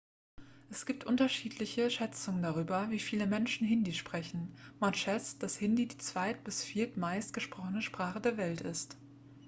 es gibt unterschiedliche schätzungen darüber wie viele menschen hindi sprechen man schätzt dass hindi die zweit bis viertmeist gesprochene sprache der welt ist